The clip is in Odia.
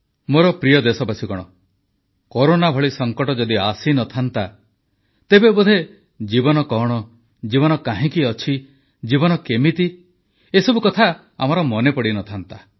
ମୋର ପ୍ରିୟ ଦେଶବାସୀଗଣ କରୋନା ଭଳି ସଂକଟ ଯଦି ଆସିନଥାନ୍ତା ତେବେ ବୋଧେ ଜୀବନ କଣ ଜୀବନ କାହିଁକି ଅଛି ଜୀବନ କେମିତି ବୋଧହୁଏ ଏହା ଆମର ମନେ ପଡ଼ିନଥାନ୍ତା